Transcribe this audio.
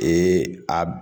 a